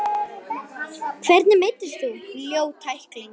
Hvernig meiddist þú, ljót tækling?